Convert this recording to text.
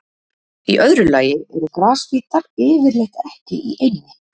Í öðru lagi eru grasbítar yfirleitt ekki í eynni.